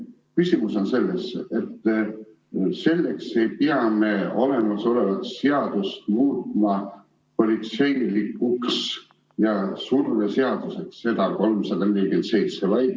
Küsimus on selles, et selleks ei pea me olemasolevat seadust muutma politseilikuks surveseaduseks.